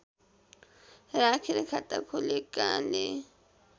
राखेर खाता खोलेकाले